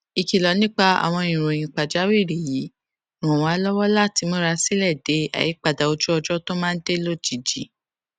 ìkìlò nípa àwọn ìròyìn pàjáwìrì yìí ràn wá lówó láti múra sílè de àyípadà ojú ọjó tó máa dé lójijì